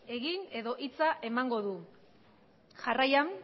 egin edo hitza emango du jarraian